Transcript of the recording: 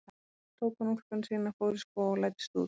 Svo tók hann úlpuna sína, fór í skó og læddist út.